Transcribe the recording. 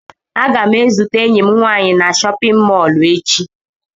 Aga m ezute enyi m nwaanyị na chọpịn mọọlụ echi.